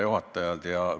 Hea juhataja!